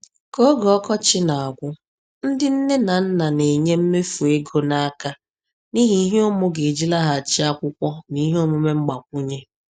Ka oge ọkọchị na-agwụ, ndị nne na nna na-enye mmefu ego n’aka n’ihi ihe ụmụ ga-eji laghachi akwụkwọ na ihe omume mgbakwunye.